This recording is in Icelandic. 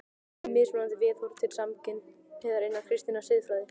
FIMM MISMUNANDI VIÐHORF TIL SAMKYNHNEIGÐAR INNAN KRISTINNAR SIÐFRÆÐI